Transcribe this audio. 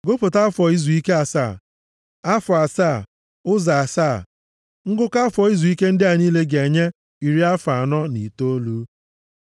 “ ‘Gụpụta afọ izuike asaa, afọ asaa, ụzọ asaa. Ngụkọ afọ izuike ndị a niile ga-enye iri afọ anọ na itoolu.